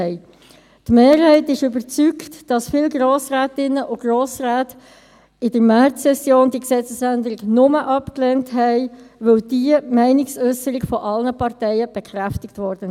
Die Mehrheit ist überzeugt, dass viele Grossrätinnen und Grossräte diese Gesetzesänderung in der Märzsession nur abgelehnt haben, weil diese Meinungsäusserung von allen Parteien bekräftigt wurde.